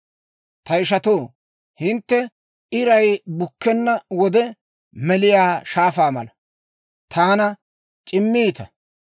Ta ishatoo, hintte iray bukkenna wode meliyaa shaafaa mala, taana c'immiitta.